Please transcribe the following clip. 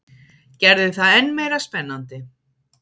Gerði það enn meira spennandi.